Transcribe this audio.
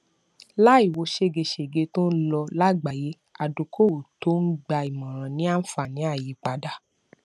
láì wo ṣégeṣége tó ń lọ lágbàáyé adókòówò tó ń gba ìmọràn ní àǹfààní àyípadà